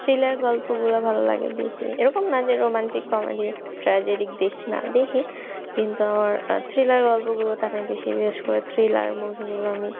thriller গল্পগুলা ভাললাগে বেশি। এরকম না যে romantic, comedy, tragedy দেখি না, দেখি কিন্তু আমার thriller গল্পগুলা টানে বেশি, বিশেষ করে thriller movie গুলো আমি,